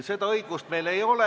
Seda õigust meil ei ole.